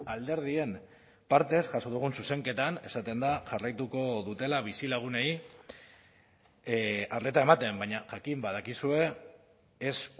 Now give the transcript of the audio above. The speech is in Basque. alderdien partez jaso dugun zuzenketan esaten da jarraituko dutela bizilagunei arreta ematen baina jakin badakizue ez